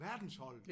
Verdensholdet!